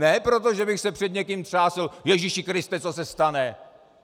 Ne proto, že bych se před někým třásl, Ježíši Kriste, co se stane?!